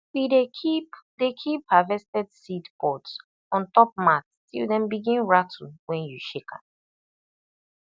we dey keep dey keep harvested seed pods on top mat till dem begin rattle when you shake dem